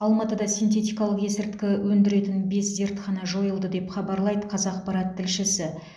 алматыда синтетикалық есірткі өндіретін бес зертхана жойылды деп хабарлайды қазақпарат тілшісі